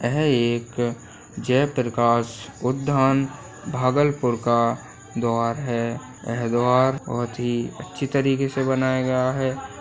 यह एक जयप्रकाश उधान भागलपुर का दुआर है यह दुआर बहुत ही अच्छे तरीके से बनाया गया है।